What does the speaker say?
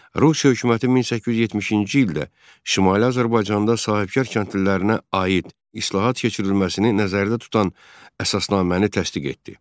Rusiya hökuməti 1870-ci ildə Şimali Azərbaycanda sahibkar kəndlilərinə aid islahat keçirilməsini nəzərdə tutan əsasnaməni təsdiq etdi.